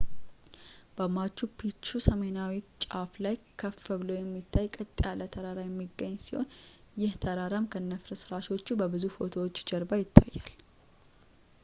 በmachu picchu ሰሜናዊ ጫፍ ላይ ከፍ ብሎ የሚታይ ቀጥ ያለ ተራራ የሚገኝ ሲሆን ይህ ተራራም ከነፍርስረሰሾቹ በብዙ ፎቶዎች ጀርባ ላይ ይታያል